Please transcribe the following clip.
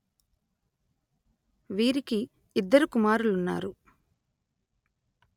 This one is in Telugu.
వీరికి ఇద్దరు కుమారులున్నారు